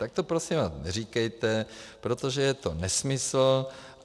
Tak to prosím vás neříkejte, protože je to nesmysl.